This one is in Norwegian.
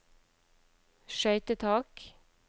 skøytetak